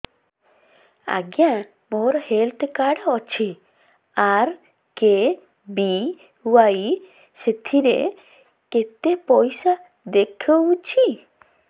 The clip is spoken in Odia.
ଆଜ୍ଞା ମୋର ହେଲ୍ଥ କାର୍ଡ ଅଛି ଆର୍.କେ.ବି.ୱାଇ ସେଥିରେ କେତେ ପଇସା ଦେଖଉଛି